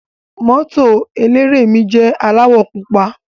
Moto eléré mi jẹ aláwọ̀ pupa.